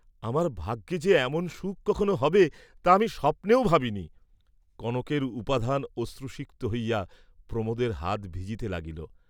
আমার ভাগ্যে যে এমন সুখ কখনো হবে তা আমি স্বপ্নেও ভাবিনি, কনকের উপাধান অশ্রুসিক্ত হইয়া প্রমোদের হাত ভিজিতে লাগিল।